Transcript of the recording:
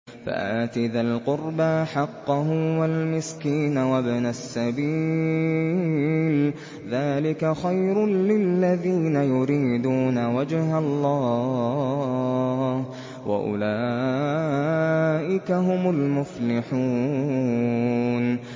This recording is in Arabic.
فَآتِ ذَا الْقُرْبَىٰ حَقَّهُ وَالْمِسْكِينَ وَابْنَ السَّبِيلِ ۚ ذَٰلِكَ خَيْرٌ لِّلَّذِينَ يُرِيدُونَ وَجْهَ اللَّهِ ۖ وَأُولَٰئِكَ هُمُ الْمُفْلِحُونَ